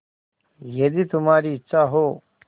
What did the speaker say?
यदि तुम्हारी इच्छा हो